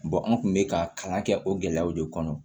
an kun bɛ ka kalan kɛ o gɛlɛyaw de kɔnɔ